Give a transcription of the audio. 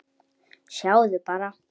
Sjáðu bara.